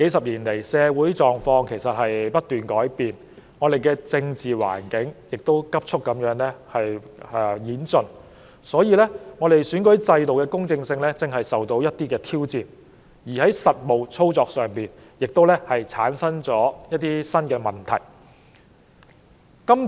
然而，社會狀況過去數十年來不斷改變，香港的政治環境亦急速演進，以致選舉制度的公正性如今受到挑戰，在實務操作上亦產生了一些新問題。